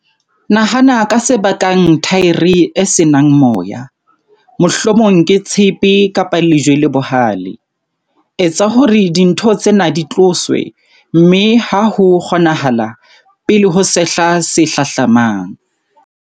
Nahana ka se ka bakang thaere e se nang moya, mohlomong ke tshepe-lejwe le bohale. Etsa hore dintho tsena di tloswe, mme ha ho kgonahala, pele ho sehla se hlahlamang.